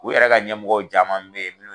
U yɛrɛ ka ɲɛmɔgɔw caman bɛ ye